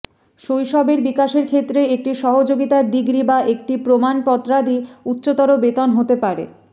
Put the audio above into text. শৈশবের বিকাশের ক্ষেত্রে একটি সহযোগীতার ডিগ্রি বা একটি প্রমাণপত্রাদি উচ্চতর বেতন হতে পারে